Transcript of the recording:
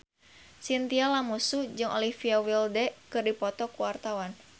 Chintya Lamusu jeung Olivia Wilde keur dipoto ku wartawan